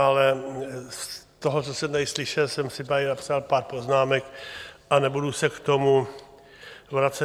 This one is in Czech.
Ale z toho, co jsem tady slyšel, jsem si tady napsal pár poznámek a nebudu se k tomu vracet.